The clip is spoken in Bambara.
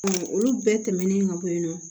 olu bɛɛ tɛmɛnen ka bɔ yen nɔ